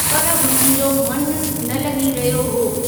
पर हुननि जो मनु न लॻी रहियो हो।